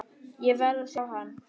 Ég verð að sjá hann.